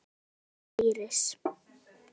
Þín frænka, Íris.